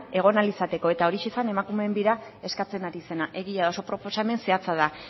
egon ahal izateko eta horixe zen emakumeen bira eskatzen ari zena egia da oso proposamen zehatza da